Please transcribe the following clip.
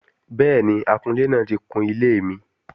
Bẹ́ẹ̀ni, akunlé náà ti kun ilé mi